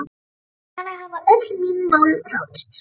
Þannig hafa öll mín mál ráðist.